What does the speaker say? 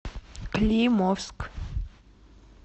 климовск